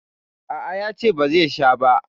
A a, ya ce ba zai sha ba.